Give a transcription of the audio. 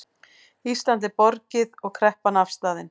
Íslandi er borgið og kreppan afstaðin